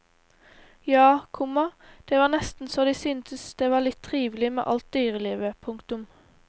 Ja, komma det var nesten så de syntes det var litt trivelig med alt dyrelivet. punktum